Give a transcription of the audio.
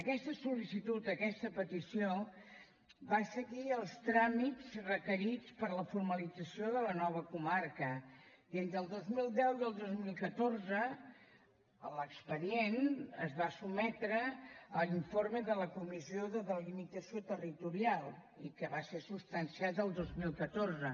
aquesta sol·licitud aquesta petició va seguir els tràmits requerits per a la formalització de la nova comarca i entre el dos mil deu i el dos mil catorze l’expedient es va sotmetre a l’informe de la comissió de delimitació territorial i que va ser substanciat el dos mil catorze